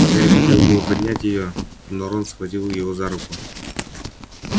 гарри хотел было поднять её но рон схватил его за руку